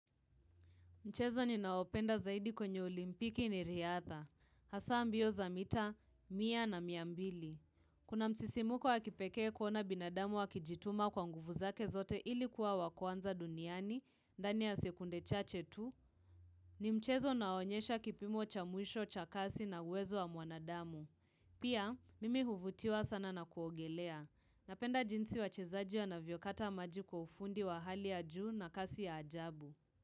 Mchezo ninaopenda zaidi kwenye olimpiki ni riadha, hasa mbio za mita, mia na mia mbili. Kuna msisimuko wakipekee kuona binadamu wakijituma kwa nguvu zake zote ili kuwa wa kwanza duniani, ndani ya sekunde chache tu, ni mchezo unaonyesha kipimo cha mwisho cha kasi na uwezo wa mwanadamu. Pia, mimi huvutiwa sana na kuogelea. Napenda jinsi wachezaji wanavyokata maji kwa ufundi wa hali ya juu na kasi ya ajabu.